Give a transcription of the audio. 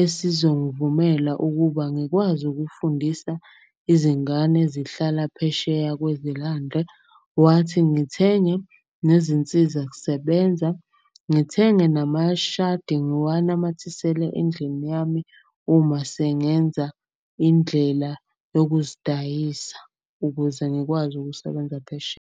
esizongivumela ukuba ngikwazi ukufundisa izingane zihlala phesheya kwezilandle. Wathi ngithenge nezinsiza kusebenza, ngithenge namashadi ngiwanamathisele endlini yami. Uma sengenza indlela yokuzidayisa ukuze ngikwazi ukusebenza phesheya.